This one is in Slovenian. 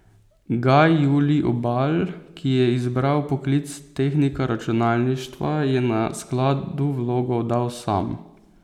Gaj Julij Obal, ki je izbral poklic tehnika računalništva, je na skladu vlogo oddal sam.